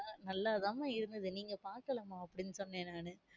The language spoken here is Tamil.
நல்லா தான இருந்துது, நீங்க பாக்கல மா அப்டினு சொன்னேன் நானு.